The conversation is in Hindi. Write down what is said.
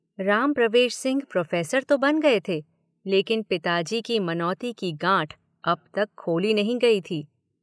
राम प्रवेश सिंह प्रोफेसर तो बन गए थे लेकिन पिताजी की मनोती की गांठ अब तक खोली नहीं गई थी।